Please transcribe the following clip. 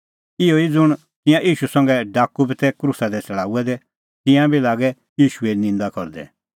इहअ ई ज़ुंण तिंयां ईशू संघै डाकू बी तै क्रूसा दी छ़ड़ाऊऐ दै तिंयां बी लागै ईशूए निंदा करदै